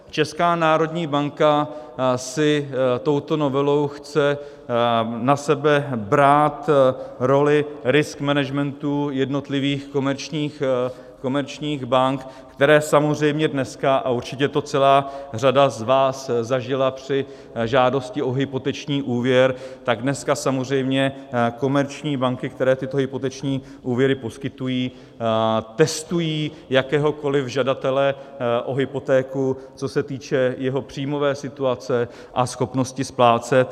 Česká národní banka si touto novelou chce na sebe brát roli risk managementu jednotlivých komerčních bank, které samozřejmě dneska, a určitě to celá řada z vás zažila při žádosti o hypoteční úvěr, tak dneska samozřejmě komerční banky, které tyto hypoteční úvěry poskytují, testují jakéhokoliv žadatele o hypotéku, co se týče jeho příjmové situace a schopnosti splácet.